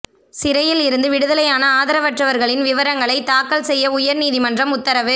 சிறையில் இருந்து விடுதலையான ஆதரவற்றவா்களின் விவரங்களைத் தாக்கல் செய்ய உயா்நீதிமன்றம் உத்தரவு